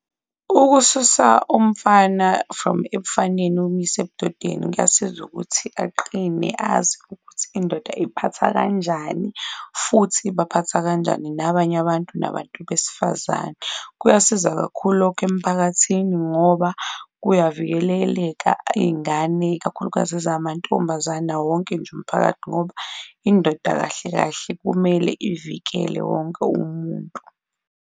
Ukususa umfana from ebufaneni umyise ebudodeni kuyasiza ukuthi aqine, azi ukuthi indoda iy'phatha kanjani futhi ibaphatha kanjani nabanye abantu nabantu besifazane. Kuyasiza kakhulu lokho emphakathini ngoba kuyavikeleleka izingane, ikakhulukazi ezingamantombazane, nawo wonke nje umphakathi ngoba indoda kahle kahle kumele ivikele wonke umuntu.